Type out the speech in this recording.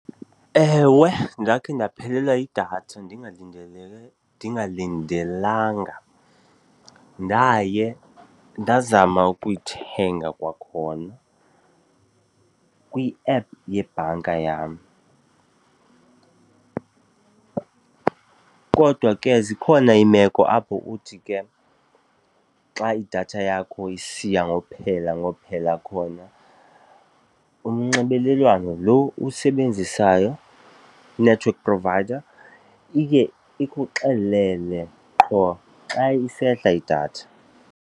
Ewe, ndakhe ndaphelelwa yidatha ndingalindelanga. Ndaye ndazama ukuyithenga kwakhona kwi-app yebhanka yam kodwa ke zikhona iimeko apho uthi ke xa idatha yakho isiya ngokuphela ngokuphela khona umnxibelelwano lo owusebenzisayo i-network provider iye ikuxelele qho xa isehla idatha.